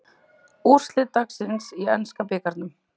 Úrslit dagsins í enska bikarnum